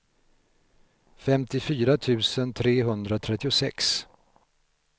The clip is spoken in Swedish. femtiofyra tusen trehundratrettiosex